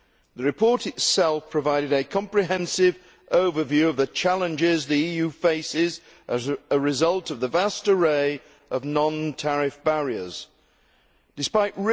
The report itself provided a comprehensive overview of the challenges the EU faces as a result of the vast array of non tariff barriers Despite